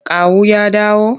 Kawu ya dawo?